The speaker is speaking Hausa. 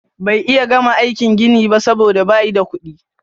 Bay iya gama aikin gini ba soboda bayi da kudi.